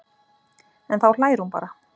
En þá hlær hún bara.